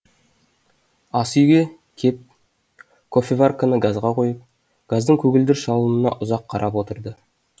ас үйге кеп кофеварканы газға қойып газдың көгілдір жалынына ұзақ қарап отырды